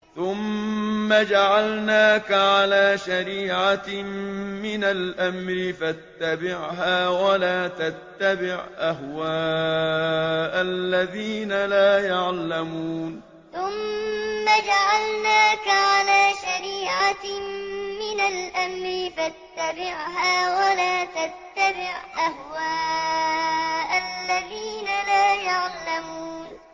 ثُمَّ جَعَلْنَاكَ عَلَىٰ شَرِيعَةٍ مِّنَ الْأَمْرِ فَاتَّبِعْهَا وَلَا تَتَّبِعْ أَهْوَاءَ الَّذِينَ لَا يَعْلَمُونَ ثُمَّ جَعَلْنَاكَ عَلَىٰ شَرِيعَةٍ مِّنَ الْأَمْرِ فَاتَّبِعْهَا وَلَا تَتَّبِعْ أَهْوَاءَ الَّذِينَ لَا يَعْلَمُونَ